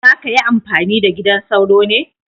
Za ka yi amfani da gidan sauro ne?